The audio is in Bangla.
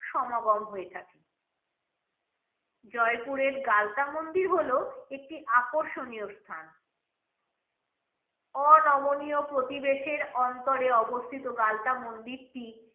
সমাগম হয়ে থাকে জয়পুরের গালতা মন্দির হলো একটি আকর্ষণীয় স্থান অনমনীয় প্রতিবেশের অন্তরে অবস্থিত গালতা মন্দিরটি